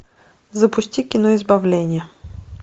запусти кино избавление